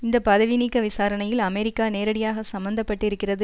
இந்த பதவி நீக்க விசாரணையில் அமெரிக்கா நேரடியாக சம்மந்தப்பட்டிருக்கிறது